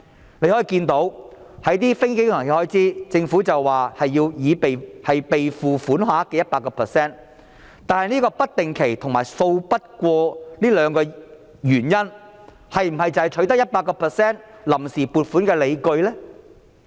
就一些非經常性開支，申請的臨時撥款額為預算案所示備付款額的 100%， 但"不定期"和"數筆過"這兩個原因是否取得 100% 臨時撥款的理據呢？